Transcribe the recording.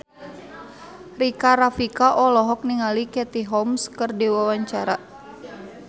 Rika Rafika olohok ningali Katie Holmes keur diwawancara